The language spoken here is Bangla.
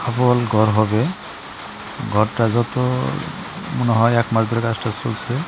ঘর হবে ঘরটা যত মনে হয় এক মাস ধরে কাজ টাজ চলছে।